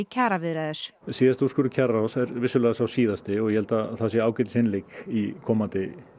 kjaraviðræður síðasti úrskurður kjararáðs er vissulega sá síðasti og ég held að það sé ágætisinnlegg í komandi